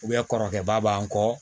kɔrɔkɛba b'an kɔ